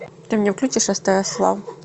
ты мне включишь стс лав